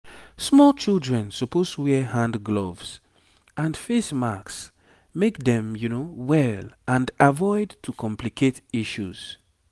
small children suppose wear hand gloves and face masks make dem well and avoid to complicate issues